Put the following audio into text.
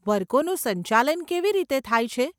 વર્ગોનું સંચાલન કેવી રીતે થાય છે?